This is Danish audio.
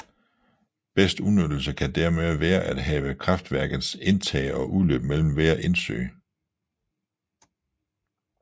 Bedst udnyttelse kan dermed være at have kraftværkets indtag og udløb mellem hver indsø